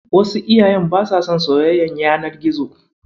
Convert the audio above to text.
Wasu iyayen basa son soyayyar yanar gizo.